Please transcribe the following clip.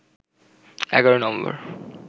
১১ November